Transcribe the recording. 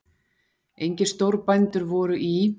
Engir stórbændur voru í